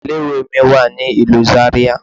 Ilé ìwé mi wà ní ìlú Zaria.